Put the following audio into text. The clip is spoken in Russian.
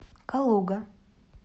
калуга